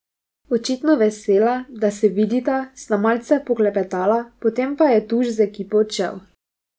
Očitno vesela, da se vidita, sta malce poklepetala, potem pa je Tuš z ekipo odšel.